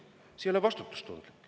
See ei ole vastutustundlik.